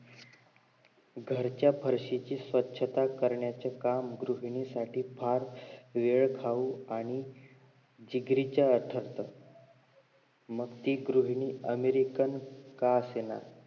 घरच्या फार्शीची स्वछता करण्याचे काम गृहिणी साठी फार वेळ खाऊ आणि जिगरीचं वाटत असत मग ते गृहिणी अमेरिकन का असेना